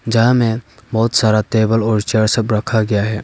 जहां में बहुत सारा टेबल और चेयर सब रखा गया है।